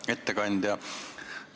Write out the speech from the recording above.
Hea ettekandja!